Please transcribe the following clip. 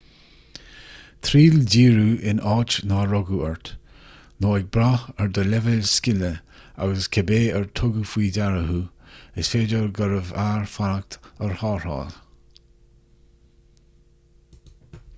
triail díriú in áit nár rugadh ort nó ag brath ar do leibhéal scile agus cibé ar tugadh faoi deara thú is féidir gurbh fhearr fanacht ar tharrtháil